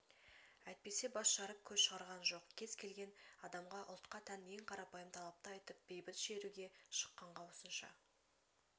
әйтпесе бас жарып көз шығарған жоқ кез-келген адамға ұлтқа тән ең қарапайым талапты айтып бейбіт шеруге шыққанға осынша